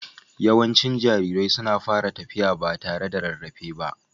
Yawancin jarirai suna fara tafiya ba tare da rarrafe ba.